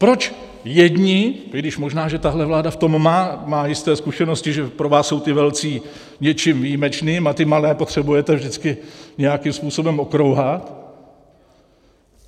Proč jedni - i když možná, že tahle vláda v tom má jisté zkušenosti, že pro vás jsou ti velcí něčím výjimečným a ty malé potřebujete vždycky nějakým způsobem okrouhat.